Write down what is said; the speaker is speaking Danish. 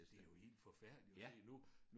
Det jo helt forfærdeligt at se nu